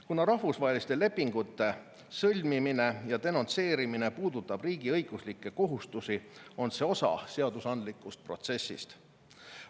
Kuna rahvusvaheliste lepingute sõlmimine ja denonsseerimine puudutab riigiõiguslikke kohustusi, on see osa seadusandlikust protsessist.